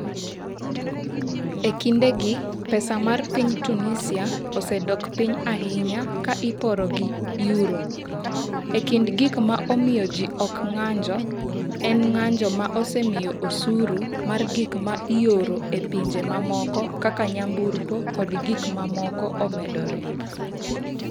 E kindegi, pesa mar piny Tunisia osedok piny ahinya ka iporo gi Euro, e kind gik ma omiyo ji ok ng’anjo, en ng’anjo ma osemiyo osuru mar gik ma ioro e pinje mamoko kaka nyamburko kod gik mamoko omedore.